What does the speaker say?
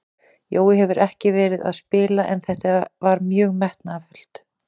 Jói hefur ekki verið að spila en þetta var mjög metnaðarfullt.